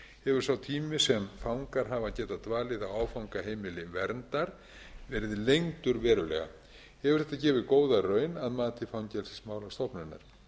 hefur sá tími sem fangar hafa getað dvalið á áfangaheimili verndar verið lengdur verulega hefur þetta gefið góða raun að mati fangelsismálastofnunar